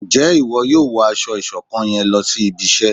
Nje ìwo yóò wọ aṣọ ìṣọ̀kan yén lòsí ibí iṣẹ?